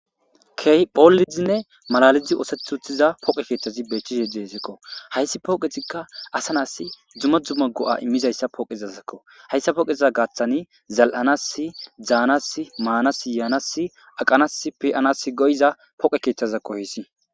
Keehi boollidinne malaalethi oothetti uttida pooqe keethazi beetishe deeskko.hayssi pooqezikka asanaas dumma dumma go7aimmizayssi hayssa pooqezayssako. hayssape gaathan zal7anaasi daanas maanaassi baanassi yaanasi aqanaas pe7anaasi go7iza pooqe keetjazakko hayssi.